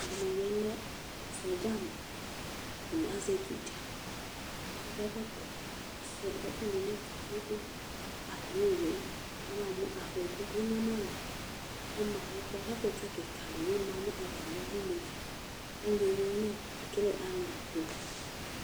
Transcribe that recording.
ɛdini bi lɛ sɔdza ni k'atani azɛ ɛtu dza k'akɔ ɛkɔtɔ k'asua ɛkò ni n'ɛto kpe kpe atami owu yɛ aba mo afɔku k'anyama do kò ɔma n'ɛfu yɛ k'ɛkutɛ keka di bi ma no atami du n'ɛfɛ ali yɛ li ekele ali to